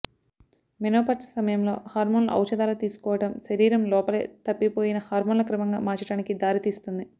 menopause సమయంలో హార్మోన్ల ఔషధాల తీసుకోవడం శరీరం లోపలే తప్పిపోయిన హార్మోన్ల క్రమంగా మార్చడానికి దారితీస్తుంది